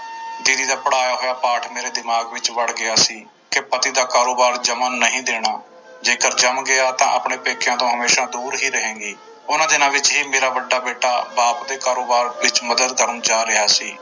ਦੀਦੀ ਦਾ ਪੜ੍ਹਾਇਆ ਹੋਇਆ ਪਾਠ ਮੇਰੇ ਦਿਮਾਗ ਵਿੱਚ ਵੜ ਗਿਆ ਸੀ ਕਿ ਪਤੀ ਦਾ ਕਾਰੋਬਾਰ ਜੰਮਣ ਨਹੀ ਦੇਣਾ, ਜੇਕਰ ਜੰਮ ਗਿਆ ਤਾਂ ਆਪਣੇ ਪੇਕਿਆਂ ਤੋਂ ਹਮੇਸ਼ਾ ਦੂਰ ਹੀ ਰਹੇਂਗੀ, ਉਹਨਾਂ ਦਿਨਾਂ ਵਿੱਚ ਹੀ ਮੇਰਾ ਵੱਡਾ ਬੇਟਾ ਬਾਪ ਦੇ ਕਾਰੋਬਾਰ ਵਿੱਚ ਮਦਦ ਕਰਨ ਜਾ ਰਿਹਾ ਸੀ।